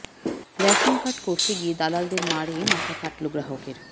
ration card করতে গিয়ে দালালদের মারে মাথা ফাটল গ্রাহকের